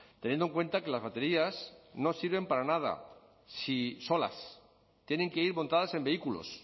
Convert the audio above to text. teniendo en cuenta que las baterías no sirven para nada solas tienen que ir montadas en vehículos